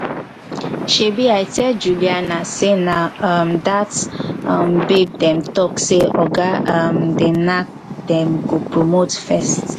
shebi i tell juliana say na um dat um babe dem talk say oga um dey knack dem go promote first